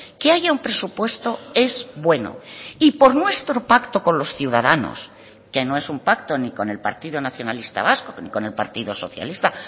que haya un presupuesto es bueno y por nuestro pacto con los ciudadanos que no es un pacto ni con el partido nacionalista vasco ni con el partido socialista